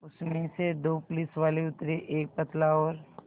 उसमें से दो पुलिसवाले उतरे एक पतला और